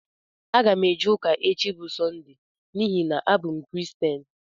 Aga m eje ụka echi bu Sọnde n'ihi na abụ m Kiristian.